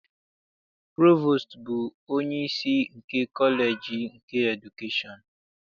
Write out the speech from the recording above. Provostu bụ onyeisi nke kọleji nke edukeshọn.